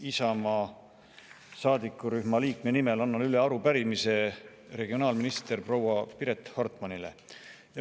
Isamaa saadikurühma seitsme liikme nimel annan üle arupärimise regionaalministrile, proua Piret Hartmanile.